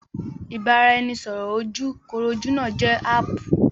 Ibaraẹnisọrọ ojú kojú náà jẹ́ áàpù